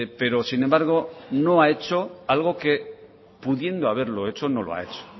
pero sin embargo no ha hecho algo que pudiendo haberlo hecho no lo ha hecho